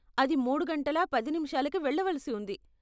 అది మూడు గంటలా పది నిమిషాలకి వెళ్ళవలసి ఉంది.